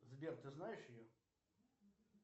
сбер ты знаешь ее